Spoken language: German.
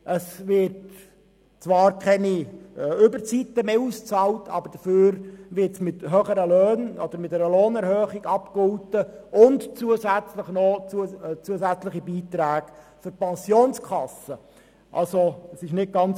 Es wird zwar keine Überzeit mehr ausbezahlt, dafür wird sie mit einer Lohnerhöhung und zusätzlichen Beiträgen für die Pensionskasse abgegolten.